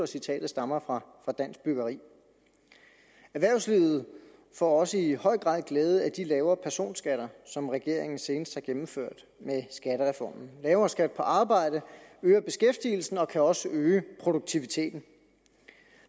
citatet stammer fra dansk byggeri erhvervslivet får også i høj grad glæde af de lavere personskatter som regeringen senest har gennemført med skattereformen lavere skatter på arbejde øger beskæftigelsen og kan også øge produktiviteten